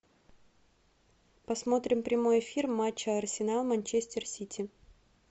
посмотрим прямой эфир матча арсенал манчестер сити